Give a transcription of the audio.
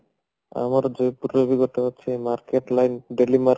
ଆମର ଜଯପୁର ରେ ବି ଅଛି ଗୋଟେ market daily market